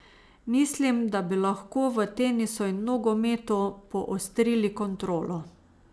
Mislim, da bi lahko v tenisu in nogometu poostrili kontrolo.